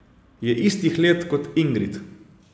Je istih let kot Ingrid.